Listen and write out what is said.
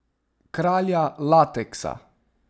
Kralja lateksa.